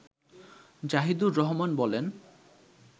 জাহিদুর রহমান বলেন